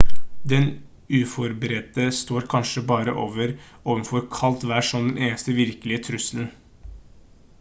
den uforberedte står kanskje bare overfor kaldt vær som den eneste virkelige trusselen